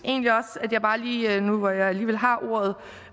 egentlig jeg nu hvor jeg alligevel har ordet